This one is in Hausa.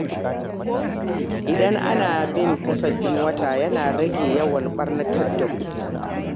Idan ana bin kasafin wata, yana rage yawan ɓarnatar da kuɗi.